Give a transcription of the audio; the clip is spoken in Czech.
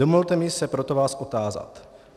Dovolte mi se proto vás otázat: